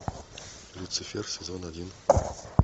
люцифер сезон один